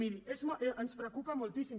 miri ens preocupa moltíssim